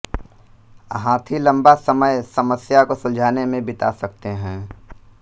हाथी लम्बा समय समस्या को सुलझाने में बिता सकते हैं